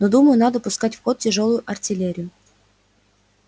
ну думаю надо пускать в ход тяжёлую артиллерию